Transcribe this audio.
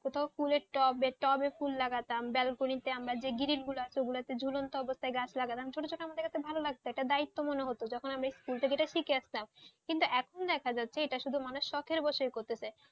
কথাও টবে ফুল লাগাতামব্যালকনিতে যে গ্রিল গুলো আছে ঝুলন্ত অবস্থায় গাছ লাগানো ছোট ছোট আমাদের কাছে ভালো লাগতএকটা দায়িত্ব মনে হতোযখন আমরা school থেকে যেটা থেকে শিখে আসতাম কিন্তু এখন দেখা যাচ্ছে মানুষ শখের বশে এটা করছে,